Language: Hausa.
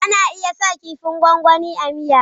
Ana iya sa kifin gwangwani a miya.